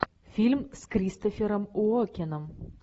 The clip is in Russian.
фильм с кристофером уокеном